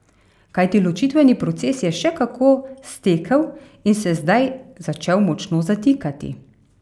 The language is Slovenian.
Kajti ločitveni proces je še kako stekel in se zdaj začel močno zatikati.